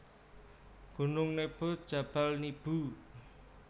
Gunung Nebo Jabal Nibu